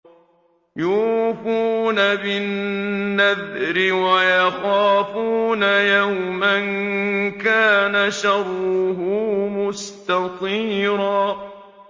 يُوفُونَ بِالنَّذْرِ وَيَخَافُونَ يَوْمًا كَانَ شَرُّهُ مُسْتَطِيرًا